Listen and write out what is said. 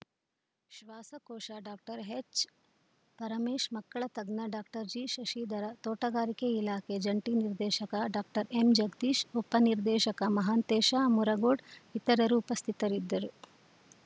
ಶ್ವಾಸಕೋಶ ಡಾಕ್ಟರ್ ಎಚ್‌ಪರಮೇಶ್‌ ಮಕ್ಕಳ ತಜ್ಞ ಡಾಕ್ಟರ್ ಜಿಶಶಿಧರ ತೋಟಗಾರಿಕೆ ಇಲಾಖೆ ಜಂಟಿ ನಿರ್ದೇಶಕ ಡಾಕ್ಟರ್ ಎಂಜಗದೀಶ್‌ ಉಪನಿರ್ದೇಶಕ ಮಹಾಂತೇಶ ಮುರಗೋಡ್‌ ಇತರರು ಉಪಸ್ಥಿತರಿದ್ದರು